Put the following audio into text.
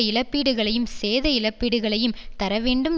இழப்பீடுகளையும் சேத இழப்பீடுகளையும் தரவேண்டும்